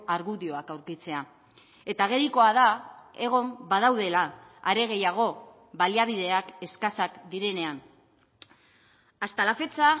argudioak aurkitzea eta agerikoa da egon badaudela are gehiago baliabideak eskasak direnean hasta la fecha